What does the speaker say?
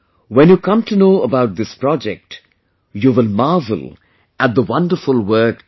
When you come to know about this project, you will marvel at the wonderful work done